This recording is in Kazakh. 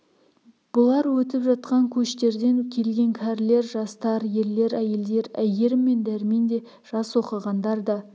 бұлар өтіп жатқан көштерден келген кәрілер жастар ерлер әйелдер әйгерім мен дәрмен де жас оқығандар да